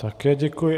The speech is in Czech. Také děkuji.